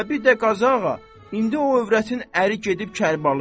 Və bir də Qazı ağa, indi o övrətin əri gedib Kərbəlayə.